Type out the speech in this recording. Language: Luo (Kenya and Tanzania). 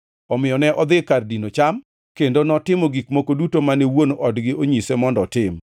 Omiyo ne odhi kar dino cham, kendo notimo gik moko duto mane wuon odgi onyise mondo otim.